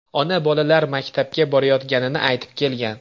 Ona bolalar maktabga borayotganini aytib kelgan.